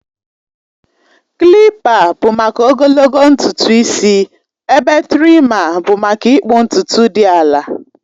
Kilipa bụ maka ogologo ntutu isi ebe trima bụ maka ịkpụ ntutu dị ala